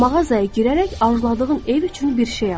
Mağazaya girərək arzuladığın ev üçün bir şey al.